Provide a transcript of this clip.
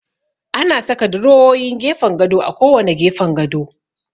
Ana saka durowowin gefen gado a kowanne gefen gado.